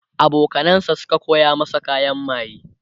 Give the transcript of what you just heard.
abokanan sa Suka koya masa kayan maye